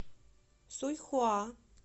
суйхуа